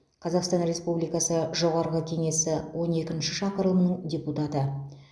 қазақстан республикасы жоғарғы кеңесі он екінші шақырылымының депутаты